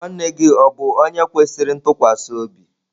Nwanne gi o bu onye kwesiri ntukwasi obi?